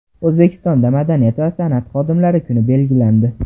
O‘zbekistonda madaniyat va san’at xodimlari kuni belgilandi.